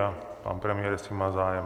A pan premiér, jestli má zájem.